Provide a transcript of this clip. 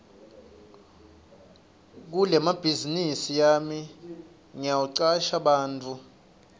kulebhazinisi yami ngitawucasha bantfu labancane